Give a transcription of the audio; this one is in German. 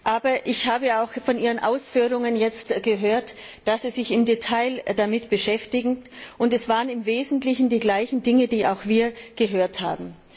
Aber ich habe auch von Ihren Ausführungen jetzt gehört, dass Sie sich im Detail damit beschäftigen, und es waren im Wesentlichen die gleichen Dinge, die auch wir gehört haben.